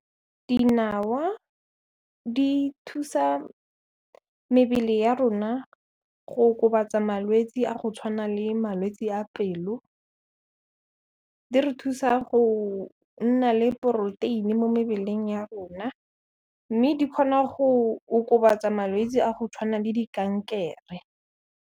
Dinawa di thusa mebele ya rona go okobatsa malwetsi a go tshwana le malwetse a pelo, di re thusa go nna le poroteini mo mebeleng ya rona, mme di kgona go okobatsa malwetsi a go tshwana le di-kankere.